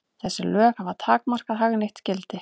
Þessi lög hafa takmarkað hagnýtt gildi.